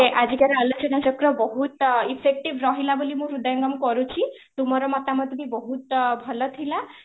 ଆଜିର ଆଲୋଚନା ଚକ୍ର ବହୁତ effective ରହିଲା ବୋଲି ମୁଁ ହୃଦୟଙ୍ଗମ କରୁଛି, ତୁମର ମମତାମତ ବି ବହୁତ ଭଲଥିଲା